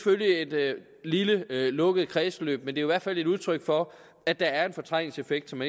lille lukket kredsløb men i hvert fald et udtryk for at der er en fortrængningseffekt som